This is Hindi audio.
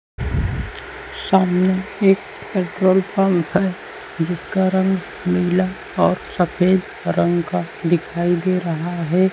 सामने एक पेट्रोल पंप है जिसका रंग नीला और सफेद रंग का दिखाई दे रहा है।